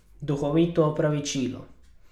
Duhovito opravičilo...